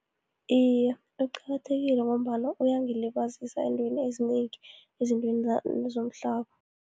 Iye, kuqakathekile, ngombana uyangilibazisa eentweni ezinengi, ezintweni nezomhlaba.